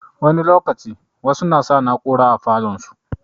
Wani lokaci, wasu na sa na'ura mai ƙwaƙwalwa a falon su.